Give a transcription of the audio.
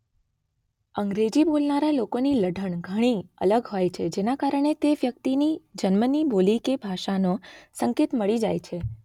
અંગ્રેજી બોલનારા લોકોની લઢણ ઘણી અલગ હોય છે જેના કારણે તે વ્યક્તિની જન્મની બોલી કે ભાષાનો સંકેત મળી જાય છે.